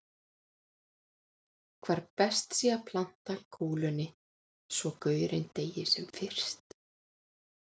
Hvar best sé að planta kúlunni svo gaurinn deyi sem fyrst.